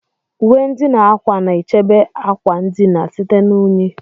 Uwe ndina ákwà na-echebe akwa ndina site na unyi.